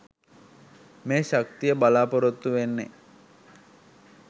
මේ ශක්තිය බලාපොරොත්තු වෙන්නෙ?